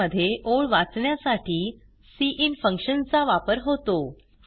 C मध्ये ओळ वाचण्यासाठी सिन फंक्शन चा वापर होतो